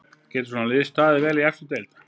Getur svona lið staðið sig vel í efstu deild?